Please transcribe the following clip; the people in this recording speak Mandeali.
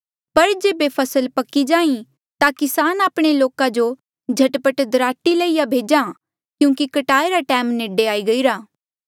पर जेबे फसल पक्की जाहीं ता किसान आपणे लोका जो झट पट दराटी लईया भेज्हा क्यूंकि कटाई रा टैम नेडे आई गईरा